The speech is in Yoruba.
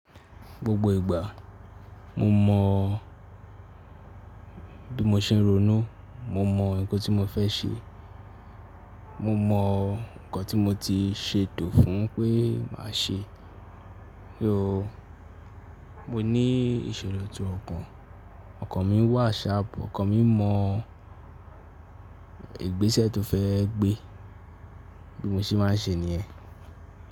Gbogbo ìgbà mo mọ̀ bí mo ṣe ń ronú, mo mọ nǹkan tí mo fẹ́ ṣe, mo mọ nǹkan tí mo ti ṣeto fún un pé màá ṣe. Mió mo ní ìṣòro ti ọkàn, ọkàn mi wà sharp, ọkàn mi mọ ìgbésẹ̀ tó fẹ́ gbé, bí mo ṣe máa ń ṣe nìyẹn.